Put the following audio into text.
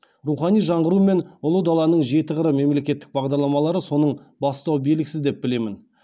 рухани жаңғыру мен ұлы даланың жеті қыры мемлекеттік бағдарламалары соның бастау белгісі деп білемін